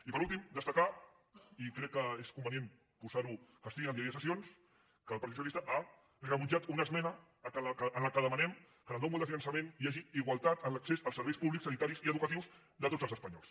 i per últim destacar i crec que és convenient po·sar·ho i que estigui en el diari de sessions que el partit socialista ha rebutjat una esmena en què demanem que en el nou model de finançament hi hagi igualtat en l’ac·cés als serveis públics sanitaris i educatius de tots els espanyols